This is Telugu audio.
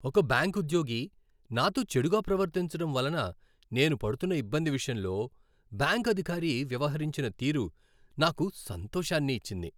ఒక బ్యాంకు ఉద్యోగి నాతో చెడుగా ప్రవర్తించడం వలన నేను పడుతున్న ఇబ్బంది విషయంలో బ్యాంకు అధికారి వ్యవహరించిన తీరు, నాకు సంతోషాన్ని ఇచ్చింది.